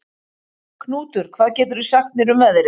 Knútur, hvað geturðu sagt mér um veðrið?